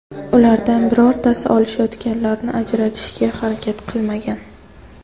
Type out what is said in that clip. Ulardan birortasi olishayotganlarni ajratishga harakat qilmagan.